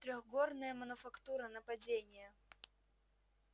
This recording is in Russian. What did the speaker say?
трёхгорная мануфактура нападение